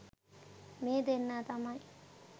මේ දෙන්නා තමයි